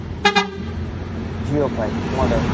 Jiofi model?